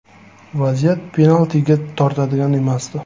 Vaziyat penaltiga tortadigan emasdi.